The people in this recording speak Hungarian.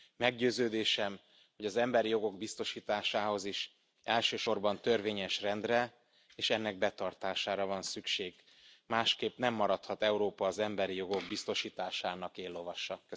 Meggyőződésem, hogy az emberi jogok biztosításához is elsősorban törvényes rendre és ennek betartására van szükség, másképpen nem maradhat Európa az emberi jogok biztosításának éllovasa.